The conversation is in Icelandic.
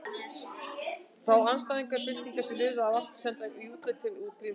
Þá andstæðinga byltingarinnar sem lifðu af átti að senda í útlegð til Grímseyjar.